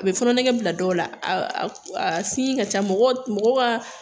A bɛ fɔnɔ nege bila dɔw la a ka ca mɔgɔw ka